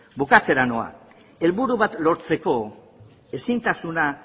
bukatzera noa helburu bat lortzeko ezintasuna